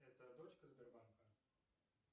это дочка сбербанка